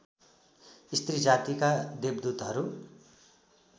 स्त्री जातीका देवदुतहरू